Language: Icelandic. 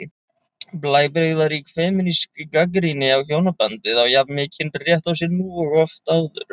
Blæbrigðarík femínísk gagnrýni á hjónabandið á jafn mikinn rétt á sér nú og oft áður.